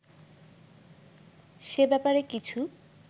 সে ব্যাপারে কিছু